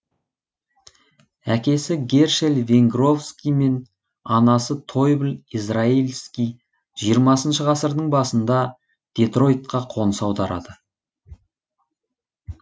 әкесі гершель венгровский мен анасы тойбл израэльски жиырмасыншы ғасырдың басында детройтқа қоныс аударады